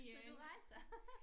Så du rejser